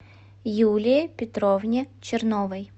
юлии петровне черновой